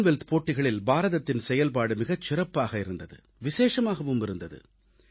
Commonwealth போட்டிகளில் பாரதத்தின் செயல்பாடு மிகச் சிறப்பாகவே இருந்தது விசேஷமாகவும் இருந்தது